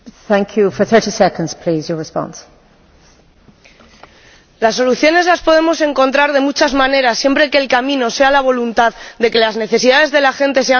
Señor Lavrilleux, las soluciones las podemos encontrar de muchas maneras, siempre que el camino sea la voluntad de que las necesidades de la gente sean la prioridad.